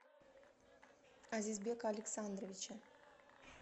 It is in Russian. азизбека александровича